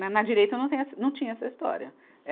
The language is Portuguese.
Né, na direita eu não tenho essa, não tinha essa história.